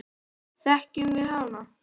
Þekkjum við hana?